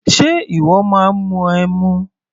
Ṣe ìwọ máa ń mu ẹmu?